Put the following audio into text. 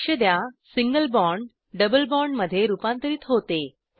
लक्षद्या single bond double बॉण्डमध्ये रुपांतरीत होते